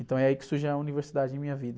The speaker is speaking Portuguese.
Então é aí que surge a universidade em minha vida.